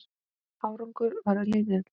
Árangur varð lítill.